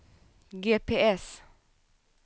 GPS